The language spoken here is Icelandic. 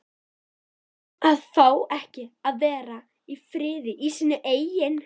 AÐ FÁ EKKI AÐ VERA Í FRIÐI Í SÍNU EIGIN